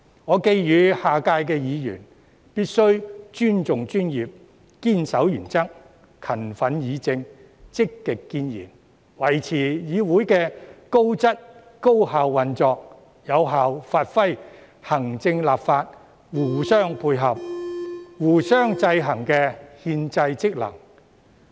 我寄語下屆的議員必須尊重專業、堅守原則、勤奮議政、積極建言，維持議會的高質、高效運作，有效發揮行政立法互相配合、互相制衡的憲制職能。